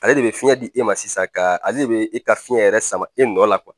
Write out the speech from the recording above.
Ale de bɛ fiɲɛ di e ma sisan ka ale bɛ e ka fiɲɛ yɛrɛ sama e nɔ la